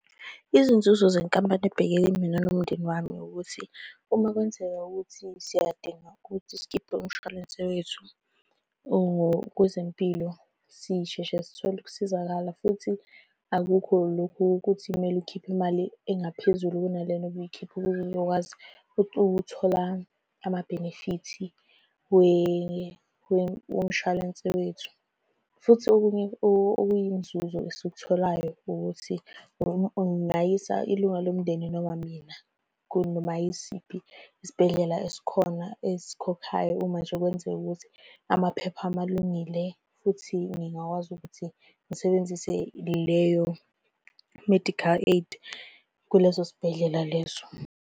Izinzuzo zenkampani ebhekele mina nomndeni wami ukuthi, uma kwenzeka ukuthi siyadinga ukuthi sikhiphe umshwalense wethu ongokwezempilo. Sisheshe sithole ukusizakala, futhi akukho lokhu ukuthi kumele ukhiphe imali engaphezulu kunalena obuyikhipha ukuze uzokwazi ukuthola amabhenefithi womshwalense wethu, futhi okunye okuyinzuzo esikutholayo ukuthi ungayisa ilunga lomndeni noma mina kunoma yisiphi isibhedlela esikhona esikhokhayo. Uma nje kwenzeka ukuthi amaphepha ami alungile futhi ngingakwazi ukuthi ngisebenzise leyo-medical aid kuleso sibhedlela leso.